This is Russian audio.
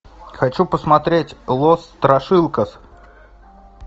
хочу посмотреть лос страшилкас